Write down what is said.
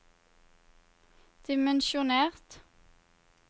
dimensjonert